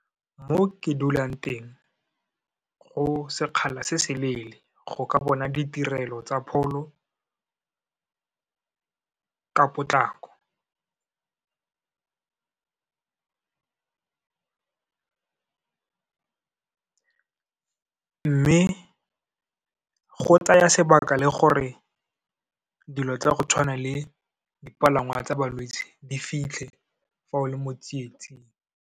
Mo ke dulang teng, go sekgala se se leele go ka bona ditirelo tsa pholo ka potlako, mme go tsaya sebaka le gore dilo tsa go tshwana le dipalangwa tsa balwetse di fitlhe, fa o le mo tsietsing.